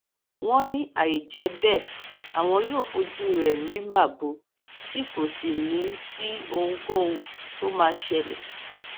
wọn ní àìjẹ bẹẹ àwọn yóò fojú rẹ rí màbo tí kò sì ní í sí ohunkóhun tó máa ṣẹlẹ